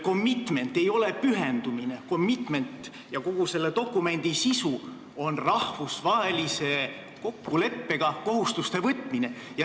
Commitment ei ole pühendumine, commitment'i ja kogu selle dokumendi sisu on rahvusvahelise kokkuleppega kohustuste võtmine.